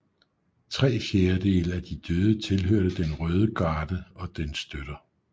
Tre fjerdedele af de døde tilhørte den røde garde og dens støtter